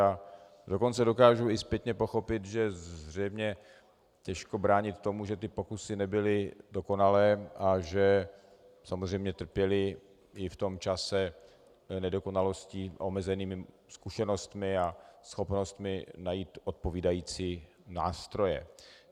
A dokonce dokážu i zpětně pochopit, že zřejmě těžko bránit tomu, že ty pokusy nebyly dokonalé a že samozřejmě trpěly i v tom čase nedokonalostí, omezenými zkušenostmi a schopnostmi najít odpovídající nástroje.